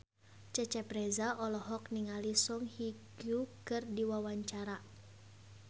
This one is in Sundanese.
Cecep Reza olohok ningali Song Hye Kyo keur diwawancara